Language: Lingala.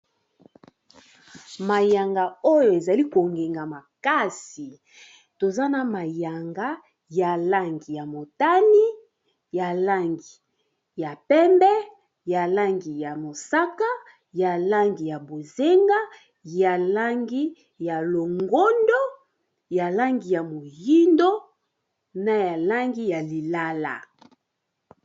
Mayanga oyo ezali kongenga makasi toza na mayanga ya langi ya motani ya langi ya pembe ya langi ya mosaka ya langi ya bozenga ya langi ya longondo ya langi ya moyindo na ya langi ya lilala.